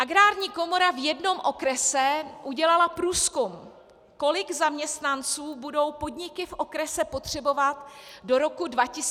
Agrární komora v jednom okrese udělala průzkum, kolik zaměstnanců budou podniky v okrese potřebovat do roku 2020 vyměnit.